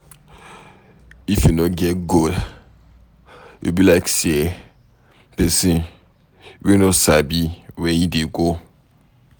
If you no get goal, you be like pesin wey no sabi where e dey go